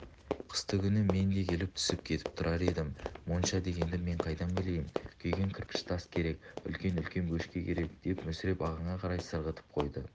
қыстыгүні мен де келіп түсіп кетіп тұрар едім монша дегенді мен қайдан білейін күйген кірпіш тас керек үлкен-үлкен бөшке керек деп мүсіреп ағаңа қарай сырғытып қойды